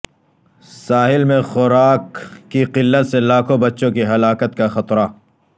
ساحل میں خوراک کی قلت سے لاکھوں بچوں کی ہلاکت کا خطرہ